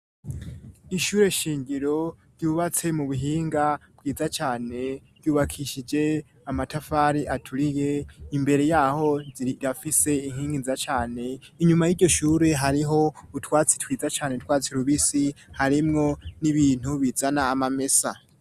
Ishure shingiro ryubatse mu buhinga bwiza cane ryubakishije amatafari aturiye, imbere yaho rifise inkingi nziza cane inyuma y'iryo shure hariho utwatsi twiza cane utwatsi rubisi harimwo n'ibintu bizana amamesa.